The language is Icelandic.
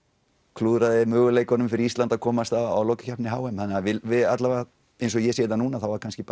klúðraði möguleikunum fyrir Ísland að komast á lokakeppni h m þannig við allavega eins og ég sé þetta núna þá kannski